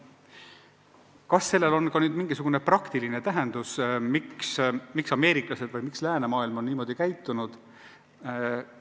Kas sellel on ka mingisugune praktiline tagamaa, miks ameeriklased ja läänemaailm üldse on niimoodi käitunud?